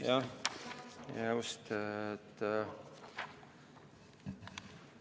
Jaa, see on nr 13, just.